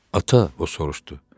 Ata, o soruşdu.